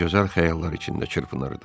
O gözəl xəyallar içində çırpınırdı.